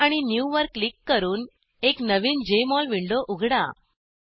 file आणि new वर click करून एक नवीन जेएमओल विंडो उघडा